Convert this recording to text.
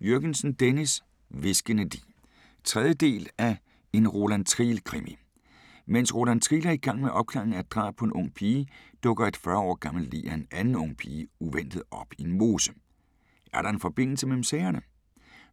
Jürgensen, Dennis: Hviskende lig 3. del af En Roland Triel krimi. Mens Roland Triel er i gang med opklaringen af et drab på en ung pige, dukker et 40 år gammelt lig af en anden ung pige uventet op i en mose. Er der en forbindelse mellem sagerne?